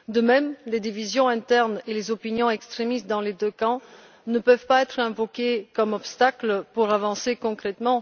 De même, les divisions internes et les opinions extrémistes dans les deux camps ne peuvent pas être invoquées comme des obstacles à des avancées concrètes.